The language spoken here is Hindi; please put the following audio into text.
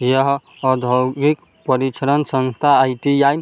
यह औधोगिक परीक्षरण संस्था आई.टी.आई. --